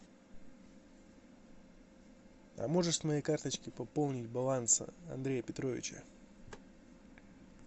а можешь с моей карточки пополнить баланс андрея петровича